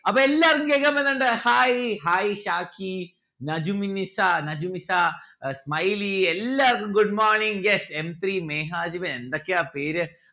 അപ്പൊ എല്ലാര്ക്കും കേൾക്കാൻ പറ്റുന്നുണ്ടോ hai hai ഷാക്കി നജുമിന്നിസ നജുമിത്ത ഏർ smiley എല്ലാവർക്കും good morning yes m three Mehajib എന്തൊക്കെയാ പേര്